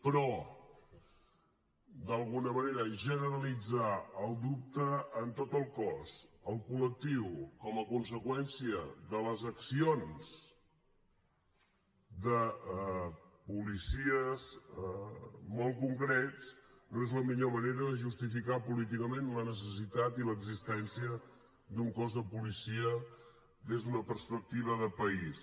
però d’alguna manera generalitzar el dubte en tot el cos el col·lectiu com a conseqüència de les accions de policies molt concrets no és la millor manera de justificar políticament la necessitat i l’existència d’un cos de policia des d’una perspectiva de país